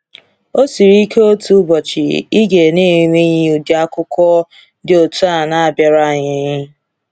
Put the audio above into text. O siri ike otu ụbọchị ịga n'enweghị ụdị akụkọ dị otú a na-abịara anyị.